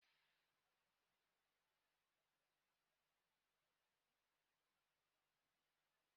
Nna m si na ya ga-enye anyị ego ma ọbụrụ na-anyị zata gwam gwam gwam echi.